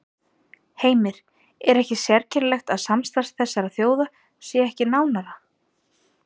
Heimir: Er ekki sérkennilegt að samstarf þessara þjóða sé ekki nánara?